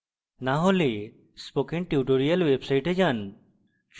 না হলে spoken tutorials website যান